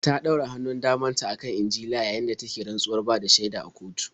Ta ɗora hannun daman ta a kan Injila yayin da take rantsuwar bada shaida a kotu.